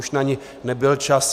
Už na ni nebyl čas.